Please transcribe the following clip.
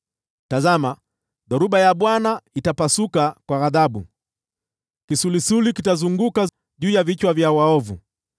Tazama, dhoruba ya Bwana itapasuka kwa ghadhabu, kisulisuli kitazunguka na kuanguka vichwani vya waovu.